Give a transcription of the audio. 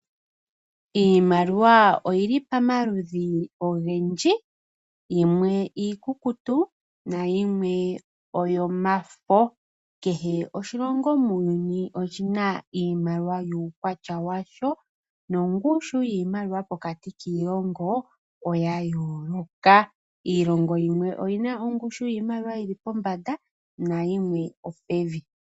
Iimaliwa oyi li pamaludhi ogendji, yimwe iikukutu, nayimwe oyo mafo. Kehe ishilongo oshina iimaliwa yuukwatya washo, nongushu yiimaliwa pokati kiilongo, oya yooloka. Iilongo yimwe oyina ongushu yiimaliwa yi li pombanda na yimwe opevi.